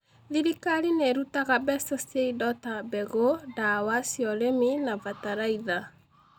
Thirikari nĩ ĩrutaga mbeca cia indo ta mbegũ, ndawa cia urĩmi na bataraitha